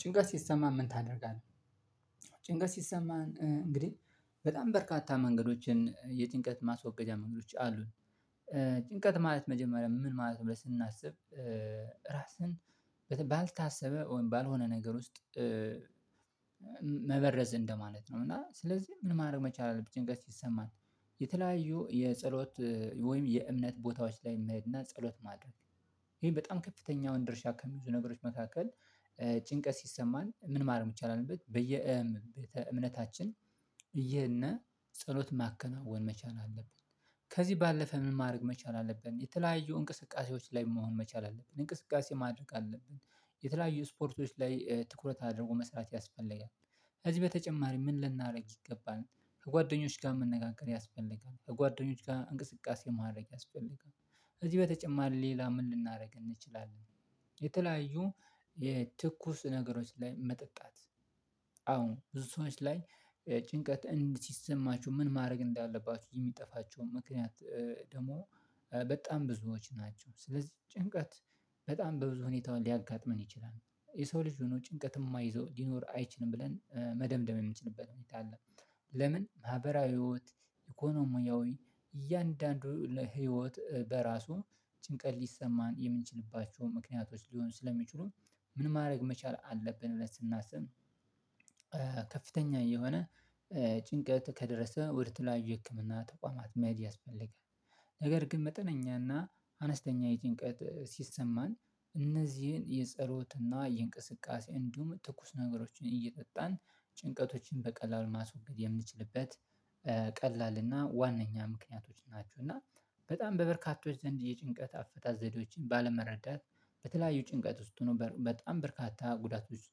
ጭንቀት ሲሰማ ምን ታደርጋለህ ጭንቀት ሲሰማ እንግዲህ በጣም በርካታ መንገዶችን የጭንቀት ማስወገጃ መንገዶች አሉ። ጭንቀት ማለት መጀመሪያ ምን ማለት ነው ስናስብ። ራስህን ባልታሰበ ወይምባልሆነ ነገር ውስጥ መበረዝ እንደማለት ነው። እና ስለዚህ ምን ማድረግ መቻል አለብኝ ጋር ሲሰማን የተለያዩ የጸሎት ወይም የእምነት ቦታዎች ላይ መሄድ እና ጸሎት ማድረግ። ይሄ በጣም ከፍተኛውን ድርሻ ከብዙ ነገሮች መካከል። ጭንቀት ሲሰማን ምን ማድረግ መቻል አለብን? እምነታችን እየሄድነ ጸሎት ማከናወን መቻል አለብን። ከዚህ ባለፈ ምን ማድረግ መቻል አለብን የተለያዩ እንቅስቃሴዎች ላይ መሆን መቻል አለብን እንቅስቃሴ ማድረግ አለብን። የተለያዩ ስፖርቶች ላይ ትኩረት አድርጎ መስራት ያስፈልጋል። ከዚህ በተጨማሪ ምን ልናደርግ ይገባል? ከጓደኞች ጋር መነጋገር ያስፈልጋል ከጓደኞች ጋር እንቅስቃሴ ማድረግ ያስፈልጋል። እዚህ በተጨማሪ ሌላ ምን ልናደርግ እንችላለን? የተለያዩ የትኩስ ነገሮች ላይ መጠጣት። አዎ ብዙ ሰዎች ላይ ጭንቀት እንዲሰማችሁ ምን ማድረግ እንዳለባችሁ የሚጠፋቸውን ምክንያት። ደግሞ በጣም ብዙዎች ናቸው። ስለዚህ ጭንቀት በጣም በብዙ ሁኔታውን ሊያጋጥመን ይችላል። የሰው ልጅ ሆኖ ጭንቀት የማይዘው ሊኖር አይችልም ብለን መደምደም የምንችልበት ሁኔታ አለ። ለምን ማህበራዊ ህይወት ኢኮኖሚያዊ እያንዳንዱ ህይወት በራሱ ጭንቀት ሊሰማን የምንችልባቸው ምክንያቶች ሊሆን ስለሚችሉን። ምን ማድረግ መቻል አለብን ብለን ስናስብ? ከፍተኛ የሆነ ጭንቀት ከደረሰ ወደ ተለያዩ የህክምና ተቋማት መሃድ ያስፈልጋል። ነገር ግን መጠነኛና አነስተኛ የጭንቀት ሲሰማን እነዚህን የጸሎትና የእንቅስቃሴ እንዲሁም ትኩስ ነገሮችን እየጠጣን ጭንቀቶቹን በቀላሉ ማስወገድ የምንችልበት ቀላል እና ዋነኛ ምክንያቶች ናቸው። እና በጣም በበርካቶች ዘንድ የጭንቀት አፈታ ዘዴዎችን ባለመረዳት በተለያዩ ጭንቀት ውስጥ ሆኖ በጣም በርካታ ጉዳቶች ውስጥ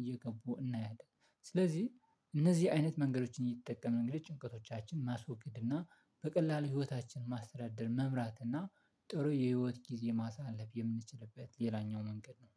እየገቡ እናያለን። ስለዚህ እነዚህ አይነት መንገዶችን እየተጠቀሙ ነገር ጭንቀቶቻችንን ማስወገድ እና በቀላሉ ህይወታችን ማስተዳደር መምራት እና ጥሩ የህይወት ጊዜ ማሳለፍ የምንችልበት ሌላኛው መንገድ ነው